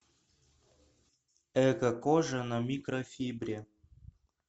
экокожа на микрофибре